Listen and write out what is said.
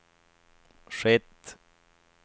skett